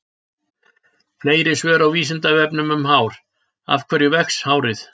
Fleiri svör á Vísindavefnum um hár: Af hverju vex hárið?